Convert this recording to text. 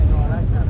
Bir dənə də.